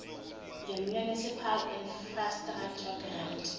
ngemunicipal infrastructure grant